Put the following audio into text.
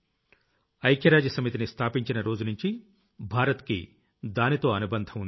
ఐక్యరాజ్య సమితిని స్థాపించిన రోజునుంచీ భారత్ కి దానిలో అనుబంధం ఉంది